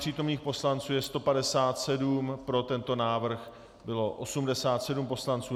Přítomných poslanců je 157, pro tento návrh bylo 87 poslanců.